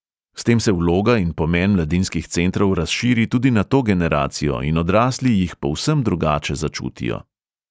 S tem se vloga in pomen mladinskih centrov razširi tudi na to generacijo in odrasli jih povsem drugače začutijo.